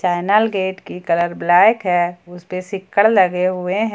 Panel gate की colour black है उस पर सिक्कड़ लगे हुए हैं।